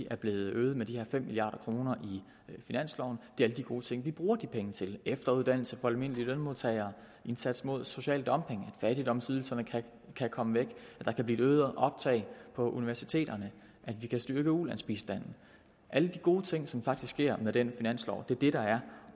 er blevet øget med de her fem milliard kroner i finansloven det er alle de gode ting vi bruger de penge til efteruddannelse for almindelige lønmodtagere indsats mod social dumping at fattigdomsydelserne kan komme væk at der kan blive øgede optag på universiteterne at vi kan styrke ulandsbistanden alle de gode ting som faktisk sker med den finanslov er det der er